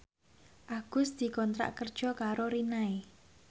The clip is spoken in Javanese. Agus dikontrak kerja karo Rinnai